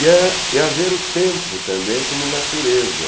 e a e a ver o tempo também como natureza.